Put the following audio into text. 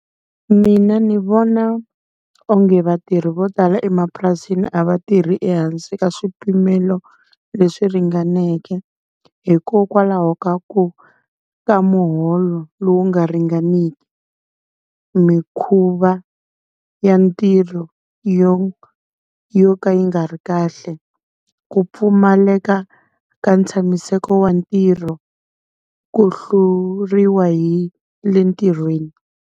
Mina ni vona onge vatirhi vo tala emapurasini a va tirhi ehansi ka swipimelo leswi ringaneke. Hikokwalaho ka ku ka muholo lowu nga ringaniki, mikhuva ya ntirho yo yo ka yi nga ri kahle, ku pfumaleka ka ntshamiseko wa ntirho, ku hluriwa hi le ntirhweni.